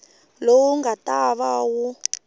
lowu nga ta va wu